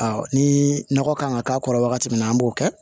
ni nɔgɔ kan ka k'a kɔrɔ wagati min na an b'o kɛ